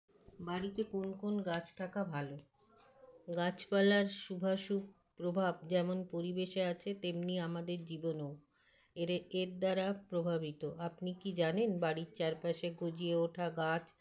বাড়িতে কোন কোন গাছ থাকা ভালো গাছপালার সুভাসু প্রভাব যেমন পরিবেশে আছে তেমনি আমাদের জীবনেও এরে এর দ্বারা প্রভাবিত আপনিকি জানেন বাড়ির চারপাশে গজিয়ে ওঠা গাছ